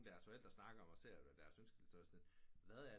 Af deres forældre snakker on og ser ders ønskelister og er sådan lidt hvad er